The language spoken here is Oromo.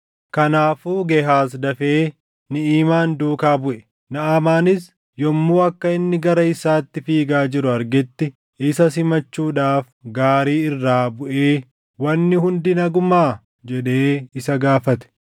Kanaafuu Gehaaz dafee Niʼimaan duukaa buʼe. Naʼamaanis yommuu akka inni gara isaatti fiigaa jiru argetti isa simachuudhaaf gaarii irraa buʼee, “Wanni hundi nagumaa?” jedhee isa gaafate.